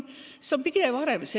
See on pidev areng.